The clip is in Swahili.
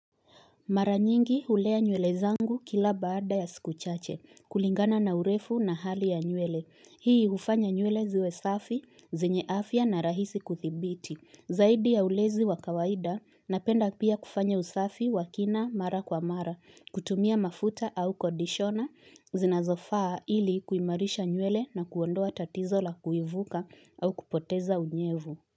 Mara nyingi ulea nywele zangu kila baada ya sikuchache, kulingana na urefu na hali ya nywele. Hii ufanya nyele ziwe safi, zinye afia na rahisi kuthibiti. Zaidi ya ulezi wa kawaida, napenda pia kufanya usafi wakina mara kwa mara, kutumia mafuta au kodishona, zinazofaa ili kuimarisha nyele na kuondoa tatizo la kuivuka au kupoteza unyevu.